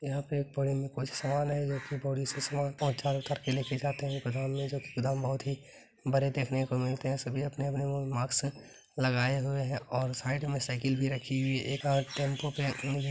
यहाँ पे एक बोरी मे कुछ सामान है जो कि बोरी से सामान उतार-उतार के लेके जाते है गोदाम मे जो की गोदाम बहुत ही बड़े देखने को मिलते है सभी अपने-अपने मास्क लगाए हुए है और साइड मे साइकल भी रखी हुई है एक हाथ टेम्पू के--